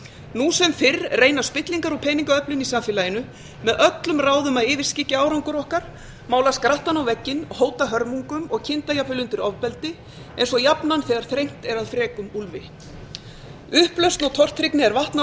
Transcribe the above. nú sem fyrr reyna spillingar og peningaöflin í samfélaginu með öllum ráðum að yfirskyggja árangur okkar mála skrattann á vegginn hóta hörmungum og kynda jafnvel undir ofbeldi eins og jafnan þegar þrengt er að frekum úlfi upplausn og tortryggni er vatn á